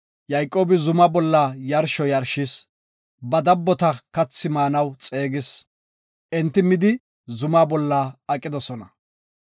Yayqoobi zuma bolla yarsho yarshis. Ba dabbota kathi maanaw xeegis. Enti midi zuma bolla aqidosona.